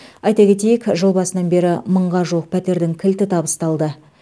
айта кетейік жыл басынан бері мыңға жуық пәтердің кілті табысталды